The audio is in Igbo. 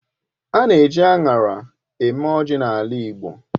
A na èji aṅara eme ọjị n'ala igbo.